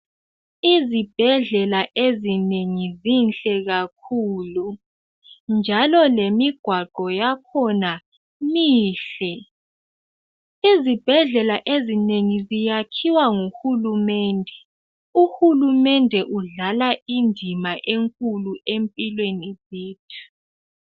Izibhedlela ezinengi zinhle kakhulu njalo lemigwaqo yakhona mihle. Izibhedlela ezinengi ziyakhiwa ngu hulumende, uhulumende udlala indima enkulu empilweni zethu.